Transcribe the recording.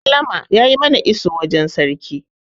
sallama ya yi mana iso wajen sarki